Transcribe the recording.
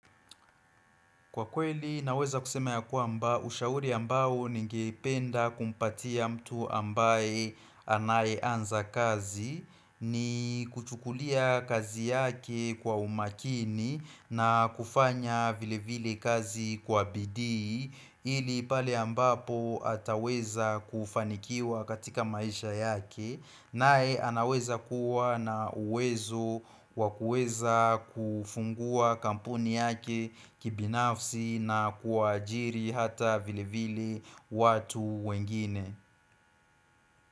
Kwa kweli naweza kusema ya kwamba ushauri ambao ningeipenda kumpatia mtu ambaye anayeanza kazi ni kuchukulia kazi yake kwa umakini na kufanya vile vile kazi kwa bidii ili pale ambapo ataweza kufanikiwa katika maisha yake nae anaweza kuwa na uwezo wa kuweza kufungua kampuni yake kibinafsi na kuajiri hata vile vile watu wengine.